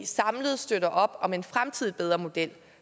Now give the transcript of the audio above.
samlet støtter op om en fremtidig bedre model